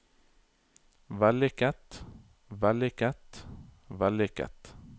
vellykket vellykket vellykket